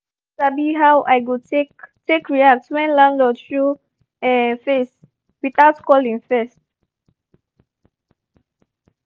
i no sabi how i go take take react when landlord show um face without calling first